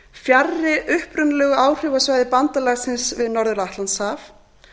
fjarri upprunalegu áhrifasvæði bandalagsins við norður atlantshaf